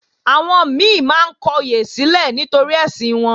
Àwọn mi máa ń kọyè sílẹ̀ nítorí ẹ̀sìn wọn